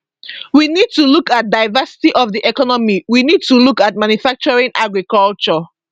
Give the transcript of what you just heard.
we need to look at diversity of di economy we need to look at manufacturing agriculture